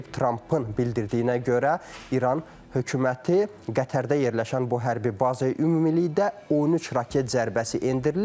Trampın bildirdiyinə görə İran hökuməti Qətərdə yerləşən bu hərbi bazaya ümumilikdə 13 raket zərbəsi endirilib.